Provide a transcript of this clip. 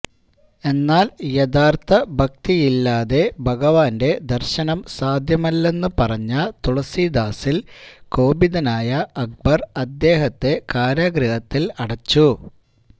എന്നാല് യഥാര്ത്ഥ ഭക്തിയില്ലാതെ ഭഗവാന്റെ ദര്ശനം സാധ്യമല്ലെന്ന് പറഞ്ഞ തുളസീദാസില് കോപിതനായ അക്ബര് അദ്ദേഹത്തെ കാരാഗൃഹത്തില് അടച്ചു